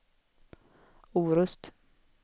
Orust